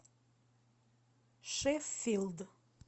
шеффилд